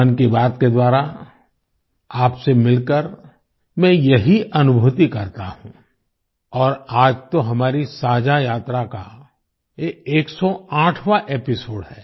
मन की बात के द्वारा आपसे मिलकर मैं यही अनुभुति करता हूँ और आज तो हमारी साझा यात्रा का ये 108वाँ एपिसोड है